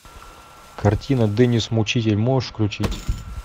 картина деннис мучитель можешь включить